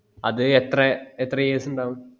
അത് എത്ര എത്ര years ഇണ്ടാകും